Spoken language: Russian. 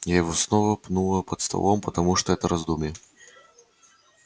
я его снова пнула под столом потому что это раздумье